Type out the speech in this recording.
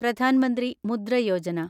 Pradhan Mantri Mudra Yojana